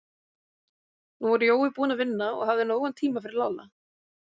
Nú var Jói búinn að vinna og hafði nógan tíma fyrir Lalla.